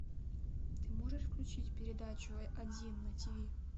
ты можешь включить передачу один на тиви